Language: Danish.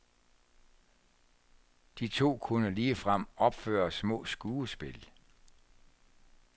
De to kunne ligefrem opføre små skuespil.